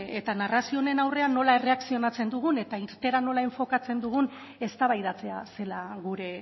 eta narrazio honen aurrean nola erreakzionatzen dugun eta irteera nola enfokatzen dugun eztabaidatzea zela gure